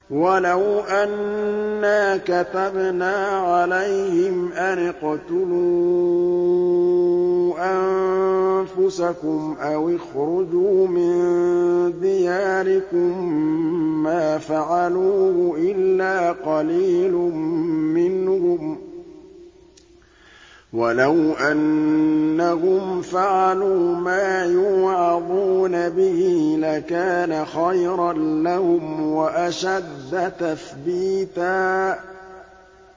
وَلَوْ أَنَّا كَتَبْنَا عَلَيْهِمْ أَنِ اقْتُلُوا أَنفُسَكُمْ أَوِ اخْرُجُوا مِن دِيَارِكُم مَّا فَعَلُوهُ إِلَّا قَلِيلٌ مِّنْهُمْ ۖ وَلَوْ أَنَّهُمْ فَعَلُوا مَا يُوعَظُونَ بِهِ لَكَانَ خَيْرًا لَّهُمْ وَأَشَدَّ تَثْبِيتًا